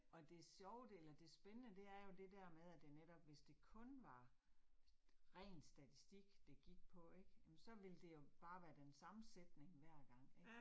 Og det sjove del og det spændende det er jo det der med, at det netop, hvis det kun var ren statistik det gik på ik, jamen så ville det jo bare være den samme sætning hver gang ik